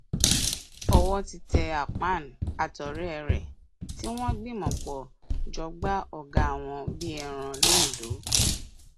owó ti tẹ akpan àtọrẹ ẹ tí wọn gbìmọpọ dọgba ọgá wọn bíi ẹran londo